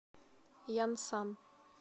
янсан